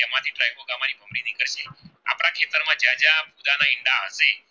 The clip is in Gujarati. જ્યાં ફુદા ના ઈંડા આપી